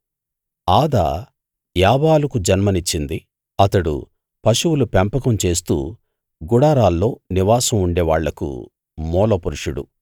ఆదా యాబాలుకు జన్మనిచ్చింది అతడు పశువులు పెంపకం చేస్తూ గుడారాల్లో నివాసం ఉండేవాళ్లకు మూలపురుషుడు